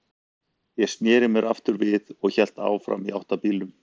Ég sneri mér aftur við og hélt áfram í átt að bílnum.